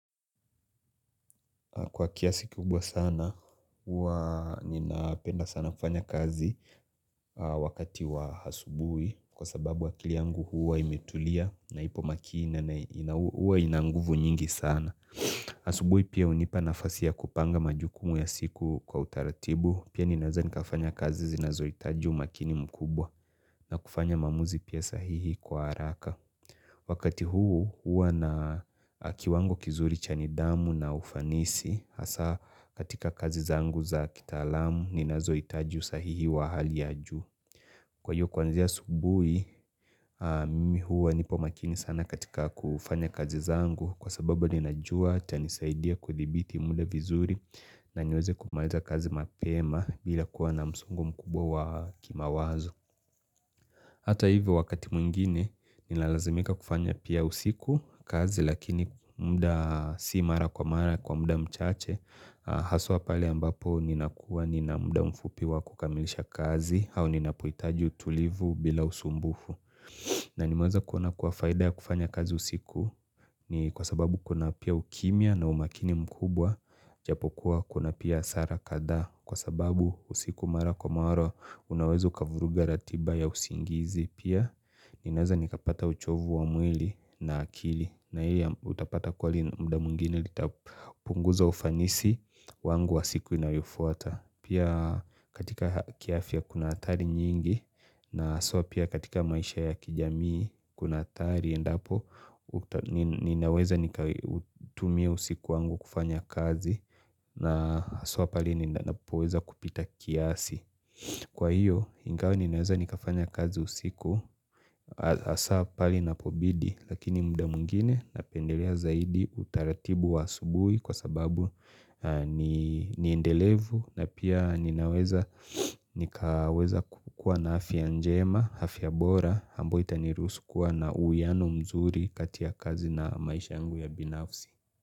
Kwa kiasi kubwa sana, huwa ninapenda sana kufanya kazi wakati wa asubuhi kwa sababu akili yangu huwa imetulia na ipo makini na huwa ina nguvu nyingi sana. Asubuhi pia unipa nafasi ya kupanga majukumu ya siku kwa utaratibu. Pia ninaweza nikafanya kazi zinazohitaji umakini mkubwa na kufanya maamuzi pia sahihi kwa haraka. Wakati huu hua na kiwango kizuri cha nidhamu na ufanisi hasa katika kazi zangu za kitaalamu ninazohitaji usahihi wa hali ya juu. Kwa hiyo kwanzia asubuhi mimi hua nipo makini sana katika kufanya kazi zangu kwa sababu ninajua itanisaidia kudhibiti muda vizuri na niweze kumaliza kazi mapema bila kuwa na msongo mkubwa wa kimawazo. Hata hivyo wakati mwingine ninalazimika kufanya pia usiku kazi lakini muda si mara kwa mara kwa muda mchache Haswa pale ambapo ninakuwa nina muda mfupi wa kukamilisha kazi au ninapohitaji utulivu bila usumbufu na nimeweza kuona kuwa faida ya kufanya kazi usiku, ni kwa sababu kuna pia ukimia na umakini mkubwa Japokuwa kuna pia hasara kadhaa kwa sababu usiku mara kwa mara unaweza ukavuruga ratiba ya usingizi pia Ninaweza nikapata uchovu wa mwili na akili na hili utapata kwa muda mwingine litapunguza ufanisi wangu wa siku inayofuata. Pia katika kiafya kuna hatari nyingi na so pia katika maisha ya kijamii kuna hatari endapo ninaweza nikautumia usiku wangu kufanya kazi na so pahali ninapoweza kupita kiasi. Kwa hiyo ingawa ninaweza nikafanya kazi usiku hasa pahali inapobidi. Lakini muda mwingine napendelea zaidi utaratibu wa asubuhi kwa sababu niendelevu na pia ninaweza nikaweza kukuwa na afya njema, afya bora ambao itaniruhusu kuwa na uhiano mzuri kati ya kazi na maisha yangu ya binafsi.